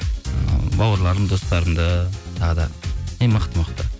ы бауырларым достарымды тағы да ең мықты мықты